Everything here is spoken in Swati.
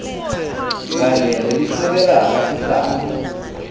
kanye nelisekela lasihlalo